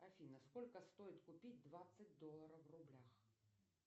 афина сколько стоит купить двадцать долларов в рублях